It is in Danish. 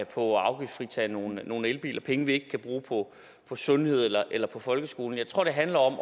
på at afgiftsfritage nogle nogle elbiler penge som vi ikke kan bruge på sundhed eller eller på folkeskolen jeg tror det handler om at